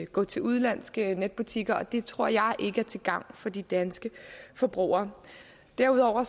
gå til udenlandske netbutikker og det tror jeg ikke er til gavn for de danske forbrugere derudover